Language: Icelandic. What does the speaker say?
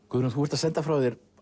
Guðrún þú ert að senda frá þér